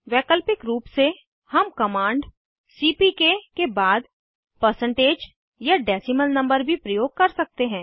वैकल्पिक रूप से हम कमांड सीपीके के बाद परसेंटेज या डेसीमल नंबर भी प्रयोग कर सकते हैं